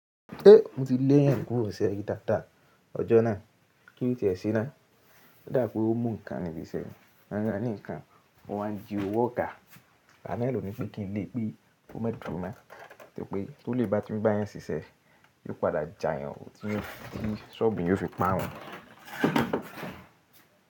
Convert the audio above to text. Mo ti léeyan kúrò n se ri daadaa ọjọ́ náà kí ló ti ẹ se ná. O dá pé ó mú nǹkan ni ibi iṣẹ́ ni. Won ran ni nǹkan, o wá ń ji òwò ọgà. Oga naa lo ní pé kí n lè pẹ́ kó má dúro mo, nítorí pé tó lè bá tun gbá yẹn ṣiṣẹ́, yóò padà jàyàn, tí soobu eeyan o fi párun.